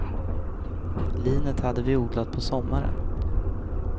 Linet hade vi odlat på sommaren.